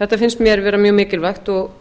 þetta finnst mér vera mjög mikilvægt og